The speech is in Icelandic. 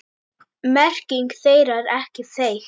Merking þeirra er ekki þekkt.